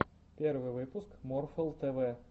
первый выпуск морфл тэ вэ